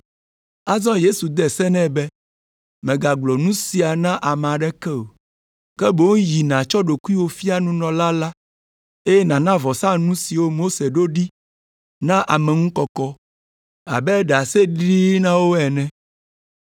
Azɔ Yesu de se nɛ be, “Mègagblɔ nu sia na ame aɖeke o, ke boŋ yi nàtsɔ ɖokuiwò fia nunɔla la, eye nàna vɔsanu siwo Mose ɖo ɖi na ameŋukɔkɔ abe ɖaseɖiɖi na wo ene.”